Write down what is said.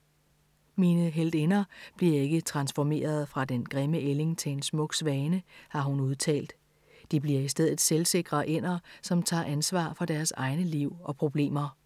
Mine heltinder bliver ikke transformeret fra den grimme ælling til en smuk svane, har hun udtalt. De bliver i stedet selvsikre ænder, som tager ansvar for deres egne liv og problemer.